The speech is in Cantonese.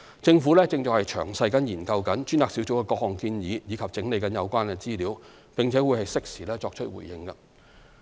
政府正詳細研究專責小組的各項建議及整理有關資料，並會適時作出回應。